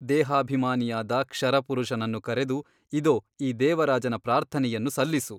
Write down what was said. ದೇಹಾಭಿಮಾನಿಯಾದ ಕ್ಷರಪುರುಷನನ್ನು ಕರೆದು ಇದೋ ಈ ದೇವರಾಜನ ಪ್ರಾರ್ಥನೆಯನ್ನು ಸಲ್ಲಿಸು.